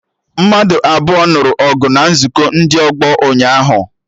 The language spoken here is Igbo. Mmadụ abụọ nụrụ ọgụ na nzukọ ndị ọgbọ ụnyaahụ